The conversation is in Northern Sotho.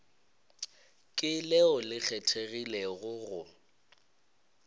ke leo le kgethegilego go